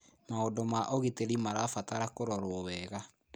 Maũndũ ma ũgitĩri marabatara kũrorwo wega.